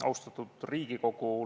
Austatud Riigikogu!